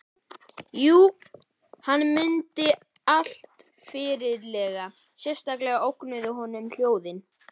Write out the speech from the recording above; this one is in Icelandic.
Jú, hann mundi allt fyllilega, sérstaklega ógnuðu honum óhljóðin.